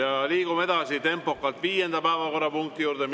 Ja liigume edasi tempokalt viienda päevakorrapunkti juurde.